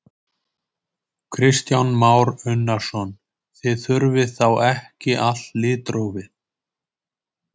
Kristján Már Unnarsson: Þið þurfið þá ekki allt litrófið?